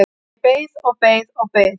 Ég beið og beið og beið!